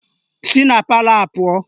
Si na palọ a pụọ!